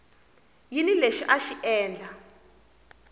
yini lexi a xi endla